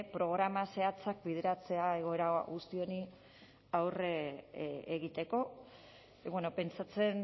programa zehatzak bideratzea egoera guzti honi aurre egiteko pentsatzen